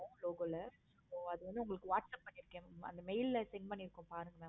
logo ல அது வந்து உங்களுக்கு whatsapp பண்ணிருக்கேன். ma'am அத mail ல send பண்ணிருக்கேன் பாருங்க